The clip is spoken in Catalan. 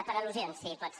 per al·lusions si pot ser